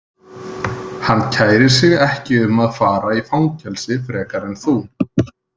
Hann kærir sig ekki um að fara í fangelsi frekar en þú.